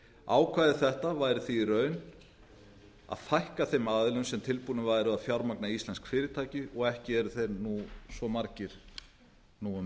ákvæði þetta væri því í raun að fækka þeim aðilum sem tilbúnir væru að fjármagna íslensk fyrirtæki og ekki eru þeir nú svo margir fyrir um